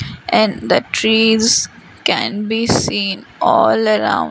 and the trees can be seen all around.